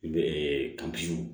N bɛ